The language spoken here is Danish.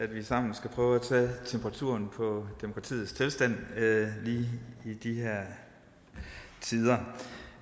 vi sammen skal prøve at tage temperaturen på demokratiets tilstand lige i de her tider